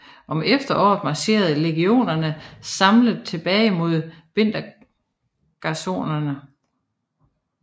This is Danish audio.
Om efteråret marcherede legionerne samlet tilbage mod vintergarnisonerne